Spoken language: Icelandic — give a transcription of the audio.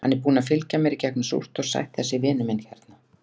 Hann er búinn að fylgja mér í gegnum súrt og sætt, þessi vinur minn hérna.